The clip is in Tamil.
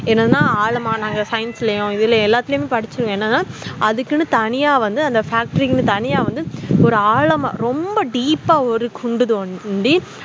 என்னனா ஆழமா நாங்க science ளையும் இதுலையும் எல்லாத்திலேயும் படிச்சிருக்கோம் என்னனா அதுக்குன்னு தண்ணிய வந்து factory தனியா வந்துஒரு ஆழமா ரொம்ப deep ஆ குண்டு தோண்டி